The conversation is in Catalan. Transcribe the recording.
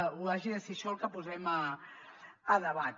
o hagi de ser això el que posem a debat